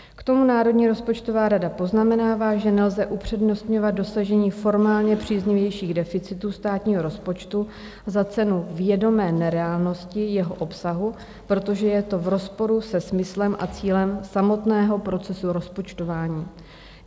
K tomu Národní rozpočtová rada poznamenává, že nelze upřednostňovat dosažení formálně příznivějších deficitů státního rozpočtu za cenu vědomé nereálnosti jeho obsahu, protože je to v rozporu se smyslem a cílem samotného procesu rozpočtování.